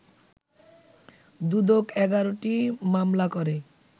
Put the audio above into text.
দুদক ১১টি মামলা করে